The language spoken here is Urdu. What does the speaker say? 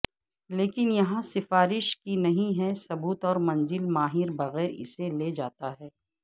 لیکن یہاں سفارش کی نہیں ہے ثبوت اور منزل ماہر بغیر اسے لے جاتا ہے